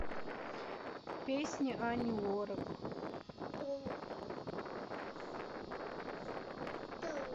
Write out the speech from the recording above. песни ани лорак